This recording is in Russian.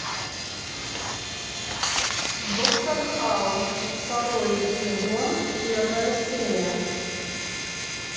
доктор хаус второй сезон первая серия